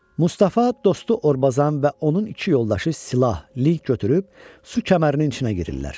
Mustafa, dostu Orbazan və onun iki yoldaşı silah-lig götürüb su kəmərinin içinə girirlər.